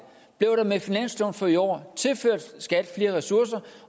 blev der med finansloven for i år tilført skat flere ressourcer